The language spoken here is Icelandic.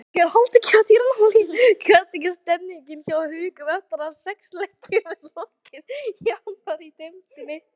Hvernig er stemmingin hjá Haukunum eftir að sex leikjum er lokið í annarri deildinni?